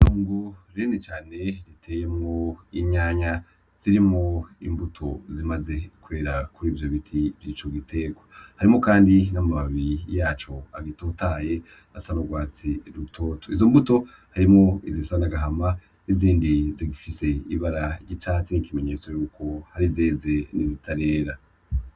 Itongo rinini cane riteyemwo inyanya zirimwo imbuto zimaze kwera kurivyo biti vyico giterwa, harimwo kandi n'amababi yaco agitotahaye asa n'urwatsi rutoto, izo mbuto harimwo izisa n'agahama nizindi zifise ibara ry'icatsi ikimenyetso yuko hari izeze n'izitarera.